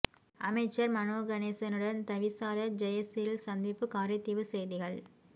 அமைச்சர் மனோகணேசனுடன் தவிசாளர் ஜெயசிறில் சந்திப்பு காரைதீவு செய்திகள்